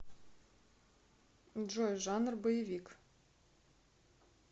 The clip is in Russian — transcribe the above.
джой жанр боевик